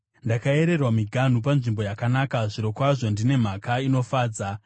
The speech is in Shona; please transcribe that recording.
Ndakayererwa miganhu panzvimbo yakanaka; zvirokwazvo ndine nhaka inofadza.